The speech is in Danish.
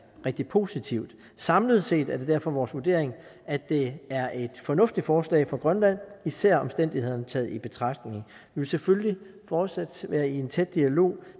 rigtig positivt samlet set er det derfor vores vurdering at det er et fornuftigt forslag for grønland især omstændighederne taget betragtning vi vil selvfølgelig fortsat være i tæt dialog